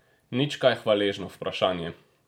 Nič kaj hvaležno vprašanje!